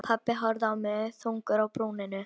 Pabbi horfði á mig þungur á brúnina.